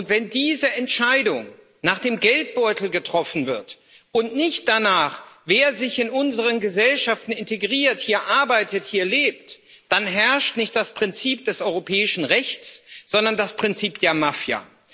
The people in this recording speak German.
Und wenn diese Entscheidung nach dem Geldbeutel getroffen wird und nicht danach, wer sich in unseren Gesellschaften integriert, hier arbeitet, hier lebt, dann herrscht nicht das Prinzip des europäischen Rechts, sondern das Prinzip der Mafia.